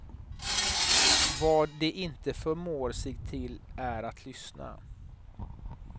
Vad de inte förmår sig till är att lyssna.